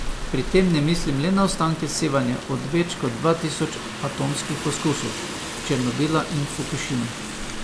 Pri tem ne mislim le na ostanke sevanja od več kot dva tisoč atomskih poskusov, Černobila in Fukušime.